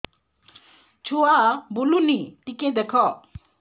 ଛୁଆ ବୁଲୁନି ଟିକେ ଦେଖ